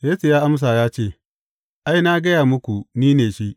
Yesu ya amsa ya ce, Ai, na gaya muku ni ne shi.